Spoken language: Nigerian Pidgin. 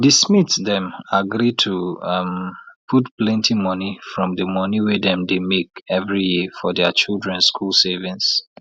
di smiths dem agree to um put plenty money from di money wey dem dey make every year for dia children school savings